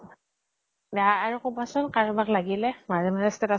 অ আৰু কবা চোন কাৰবাক লাগিলে । মাজে মাজে status ত